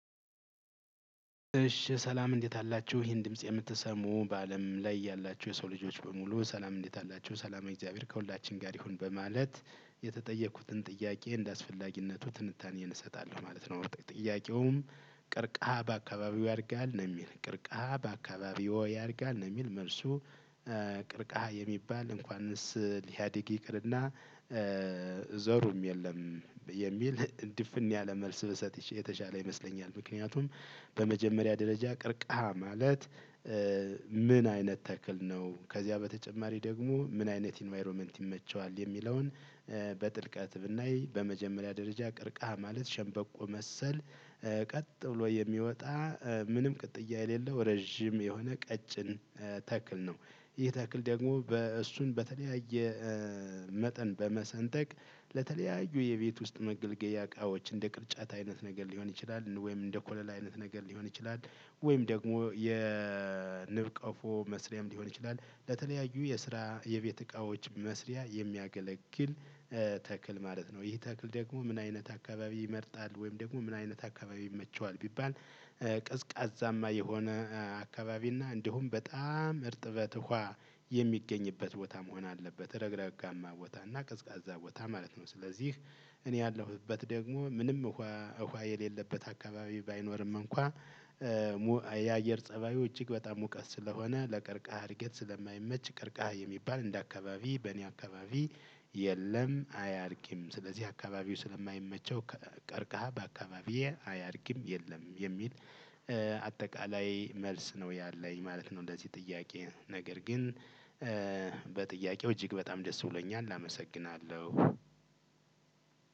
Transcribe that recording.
እሺ ሰላም እንዴት አላችሁ ይሄን ድምጽ የምትሰሙ በአለም ላይ ያላችሁ የሰው ልጆች በሙሉ ሰላም እንዴት አላችሁ ሰላመ እግዚአብሔር ከሁላችን ጋር ይሁን በማለት የተጠየኩትን ጥያቄ እንደአስፈላጊነቱ ትንታኔን እሰጣለሁ ማለት ነው። ጥያቄውም ቀርከሃ በአከባቢዎ ያድጋል ነው ሚል ቀርከሃ በአከባቢዎ ያድጋል ነው? ሚል መልሱ። ቀርከሃ የሚባል እንኳንስ ሊያድግ ይቅርና እ ዘሩም የለም። የሚል ድፍን ያለ መልስ ብሰጥሽ የተሻለ ይመስለኛል። ምክንያቱም በመጀመሪያ ደረጃ ቀርከሃ ማለት እ ምን አይነት ተክል ነው? ከዚያ በተጨማሪ ደግሞ ምን አይነት ኢንቫይሮመንት ይመቸዋል? የሚለውን እ በጥልቀት ብናይ በመጀመሪያ ደረጃ ቅርቃህ ማለት ሸንበቆ መሰል ቀጥ ብሎ የሚወጣ ምንም ቅጥያ የሌለው ረጅም የሆነ ቀጭን ተክል ነው። ይህ ተክል ደግሞ በእሱን በተለያየ መጠን በመሰንጠቅ ለተለያዩ የቤት ውስጥ መገልገያ እቃዎች እንደ ቅርጫት አይነት ነገር ሊሆን ይችላል ወይም እንደ ኮለላ አይነት ነገር ሊሆን ይችላል። ወይም ደግሞ የንብ ቀፎ መስሪያም ሊሆን ይችላል። ለተለያዩ የስራ የቤት እቃዎች መስሪያ የሚያገለግል ተክል ማለት ነው። ይህ ተክል ደግሞ ምን አይነት አካባቢ ይመርጣል ወይም ደግሞ ምን አይነት አካባቢ ይመቸዋል? ቢባል ቀዝቃዛማ የሆነ አካባቢ እና እንዲሁም በጣም እርጥበት ውሃ የሚገኝበት ቦታ መሆን አለበት ረግረጋማ ቦታና ቀዝቃዛ ቦታ ማለት ነው። ስለዚህ እኔ ያለሁበት ደግሞ ምንም ውሃ ውሃየ ሌለበት አካባቢ ባይኖርም እንኳ የአየር ፀባዩ እጅግ በጣም ሙቀት ስለሆነ ለቀርቃሃ እድገት ስለማይመች ቀርቃሃ የሚባል እንደ አካባቢ በእኔ አካባቢ የለም። አያድግም ስለዚህ አካባቢው ስለማይመቸው ቀርቃሃ በአካባቢዬ አያድግም። የለም የሚል አጠቃላይ መልስ ነው ያለኝ ማለት ነው። ለዚህ ጥያቄ ነገር ግን በጥያቄው እጅግ በጣም ደስ ብሎኛል አመሰግናለሁ።